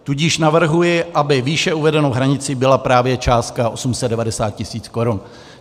Tudíž navrhuji, aby výše uvedenou hranicí byla právě částka 890 tisíc korun.